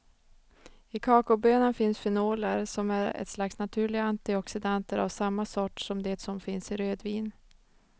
I kakaobönan finns fenoler som är ett slags naturliga antioxidanter av samma sort som det som finns i rödvin.